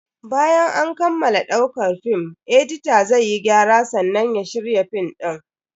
Bayan an kammala daukar film, edita zai yi gyara sannan ya shirya film din.